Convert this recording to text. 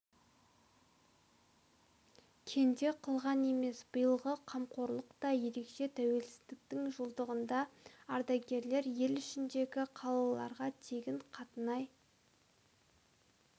кенде қылған емес биылғы қамқорлық та ерекше тәуелсіздіктің жылдығында ардагерлер ел ішіндегі қалаларға тегін қатынай